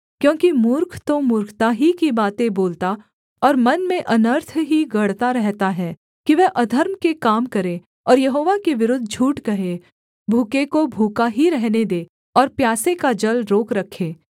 क्योंकि मूर्ख तो मूर्खता ही की बातें बोलता और मन में अनर्थ ही गढ़ता रहता है कि वह अधर्म के काम करे और यहोवा के विरुद्ध झूठ कहे भूखे को भूखा ही रहने दे और प्यासे का जल रोक रखे